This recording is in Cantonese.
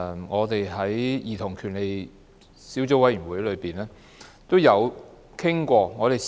我們曾在兒童權利小組委員會討論過類似議案。